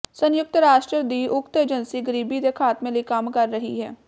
ਸੰਯੁਕਤ ਰਾਸ਼ਟਰ ਦੀ ਉਕਤ ਏਜੰਸੀ ਗਰੀਬੀ ਦੇ ਖਾਤਮੇ ਲਈ ਕੰਮ ਕਰ ਰਹੀ ਹੈ